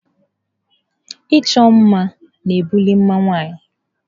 Ịchọ mma na-ebuli mma nwanyị.